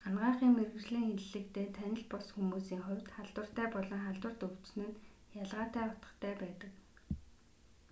анагаахын мэргэжлийн хэллэгтэй танил бус хүмүүсийн хувьд халдвартай болон халдварт өвчин нь ялгатай утгатай байдаг